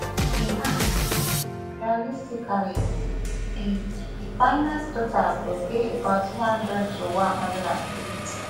e add say realistically di di final total go dey about one hundred to one hundred and fifty